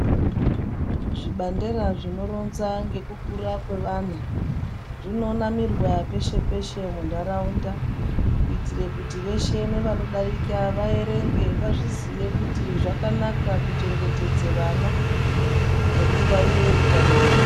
Zvibandera zvinoronza ngekukura kwevana zvinonamirwa peshe-peshe munharaunda kuitire kuti veshe nevanodarika vaerenge vazviziye kuti zvakanaka kuchengetedze vana nekungwarire utano hwavo.